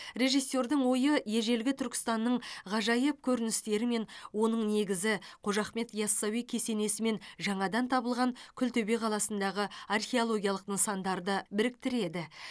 режиссердің ойы ежелгі түркістанның ғажайып көріністері мен оның негізі қожа ахмет ясауи кесенесі мен жаңадан табылған күлтөбе қаласындағы археологиялық нысандарды біріктіреді